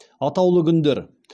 атаулы күндер